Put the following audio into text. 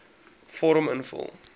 vorm invul